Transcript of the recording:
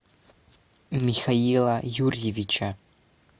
михаила юрьевича